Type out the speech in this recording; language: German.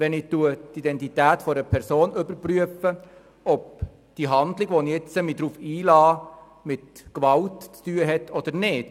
Wenn ich die Identität einer Person überprüfe, ist nicht absehbar, ob diese Handlung, auf die ich mich nun einlasse, mit Gewalt zu tun haben wird oder nicht.